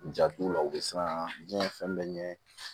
Jat'u la u bɛ siran biɲɛ fɛn bɛɛ ɲɛ